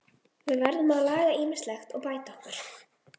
Burkni